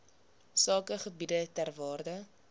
sakegebiede ter waarde